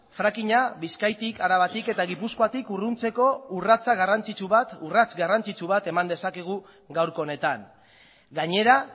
fracking a bizkaitik arabatik eta gipuzkoatik urruntzeko urrats garrantzitsu bat eman dezakegu gaurko honetan gainera